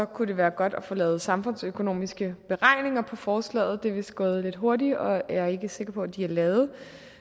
kunne det være godt at få lavet samfundsøkonomiske beregninger af forslaget det er vist gået lidt hurtigt og jeg er ikke sikker på at de er lavet